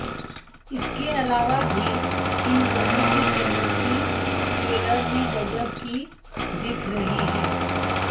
इसके अलावा भी इन दोनों की केमिस्ट्री ट्रेलर में गज़ब की दिख रही है